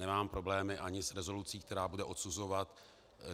Nemám problémy ani s rezolucí, která bude odsuzovat...